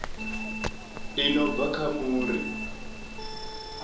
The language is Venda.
i no bva kha muri